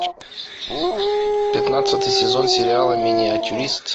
пятнадцатый сезон сериала миниатюрист